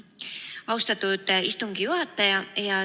Austatud istungi juhataja!